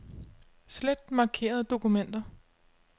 Slet markerede dokumenter.